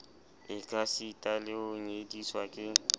ekasita le ho nyediswa ke